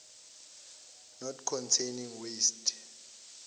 not containing waste